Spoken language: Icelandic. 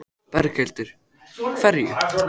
Magnús: Er þetta mikið magn sem þið bakið?